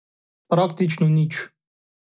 Praktično nič.